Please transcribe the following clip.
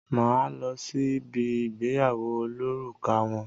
Má á lọ sí bi ìgbéyàwó olórùka wọn.